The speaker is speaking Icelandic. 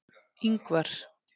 Ingvar